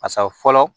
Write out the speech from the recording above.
Basa fɔlɔ